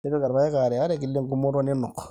tipika irpaek aare aare kila eng'umoto ninuk